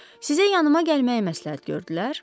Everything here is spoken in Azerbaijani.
Sizə yanıma gəlməyi məsləhət gördülər.